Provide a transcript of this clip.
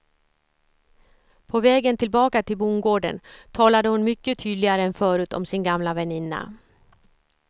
På vägen tillbaka till bondgården talade hon mycket tydligare än förut om sin gamla väninna.